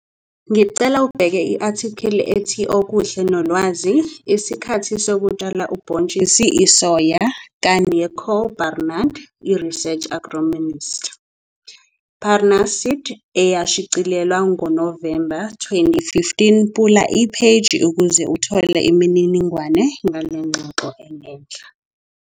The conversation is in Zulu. Ngicela ubheke i-athikhili ethi okuhle nolwazi- 'Isikhathi sokutshala ubhontshisi isoya' ka-Nico Barnard, i-Research Agronomist, Pannar Seed, eyashicilelwa ngoNovemba 2015 Pula Imvula ukuze uthole imininingwane ngale ngxoxo engenhla.